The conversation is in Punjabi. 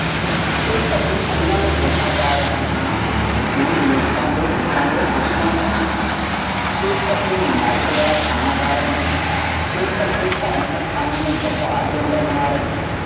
ਕੇ ਅਸੀਂ ਉਹਨਾਂ ਨੂੰ ਵੋਟਾਂ ਪਾ ਰਹੇ ਹਾਂ ਜੋ ਲੋਕਾਂ ਦੇ ਹਿਤਾਂ ਦੇ ਦੁਸ਼ਮਣ ਨੇ ਕੇ ਅਸੀਂ ਮਿਲਾਵਟ ਵਾਲਾ ਖਾਣਾ ਖਾ ਰਹੇ ਹਾਂ ਕੇ ਅਸੀਂ ਧਰਮ-ਸਥਾਨਾਂ ਨੂੰ ਵਪਾਰ ਦਾ ਕੇਂਦਰ ਬਣਾ ਰਹੇ ਹਾਂ